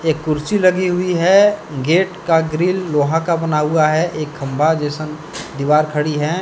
एक कुर्सी लगी हुई है गेट का ग्रिल लोहा का बना हुआ है एक खंभा जैसन दीवार खड़ी है।